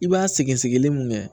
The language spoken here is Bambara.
I b'a sɛgɛn sɛgɛsɛgɛli mun kɛ